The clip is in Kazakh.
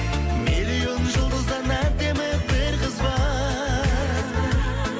миллион жұлдыздан әдемі бір қыз бар